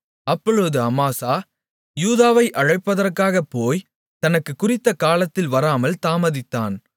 அப்பொழுது அமாசா யூதாவை அழைப்பதற்காக போய் தனக்குக் குறித்த காலத்தில் வராமல் தாமதித்தான்